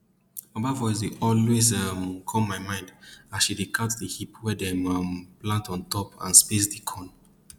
mama voice dey always um come my mind as she dey count di heap wey dem um plant on top and space di corn